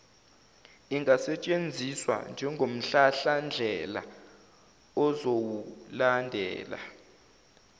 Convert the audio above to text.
ingasetshenziswa njengomhlahlandlela ozowulandela